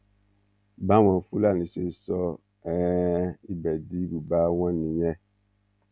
báwọn fúlàní ṣe sọ um ibẹ di ibùba wọn nìyẹn